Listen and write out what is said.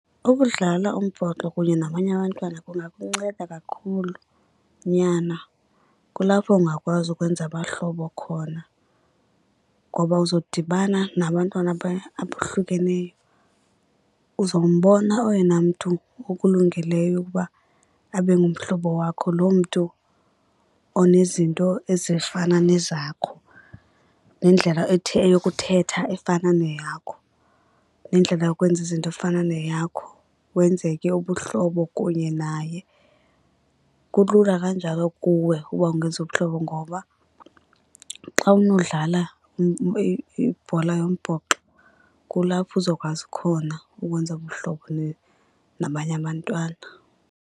Ukudlala umbhoxo kunye nabanye abantwana kungakunceda kakhulu, nyana. Kulapho ungakwazi ukwenza abahlobo khona ngoba uzodibana nabantwana abohlukeneyo, uzombona oyena mntu ukulungeleyo ukuba abe ngumhlobo wakho lo mntu onezinto ezifana nezakho, nendlela yokuthetha efana neyakho, nendlela yokwenza izinto efana neyakho. Wenze ke ubuhlobo kunye naye. Kulula kanjalo kuwe uba ungenza ubuhlobo ngoba xa unodlala ibhola yombhoxo kulapho uzokwazi khona ukwenza ubuhlobo nabanye abantwana.